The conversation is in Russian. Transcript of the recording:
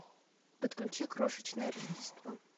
подключи крошечное рождество